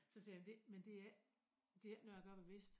Så siger jeg det men det ikke det ikke noget jeg gør bevidst